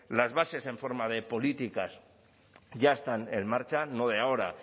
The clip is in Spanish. las bases en forma de políticas ya están en marcha no de ahora